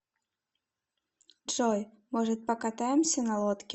джой может покатаемся на лодке